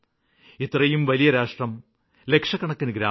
ഇത്രയും വലിയ രാഷ്ട്രം ലക്ഷക്കണക്കിന് ഗ്രാമങ്ങള്